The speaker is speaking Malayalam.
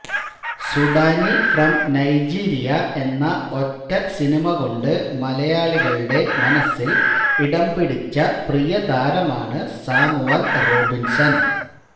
സുഡാനി ഫ്രം നൈജീരിയ എന്ന ഒറ്റ സിനിമ കൊണ്ട് മലയാളികളുടെ മനസ്സില് ഇടംപിടിച്ച പ്രിയതാരമാണ് സാമുവല് റോബിന്സന്